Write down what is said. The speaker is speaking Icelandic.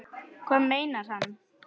Hvað meinar hann?